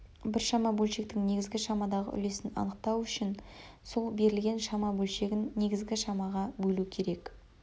біршама бөлшектің негізгі шамадағы үлесін анықтау үшін сол берілген шама бөлшегін негізгі шамаға бөлу керек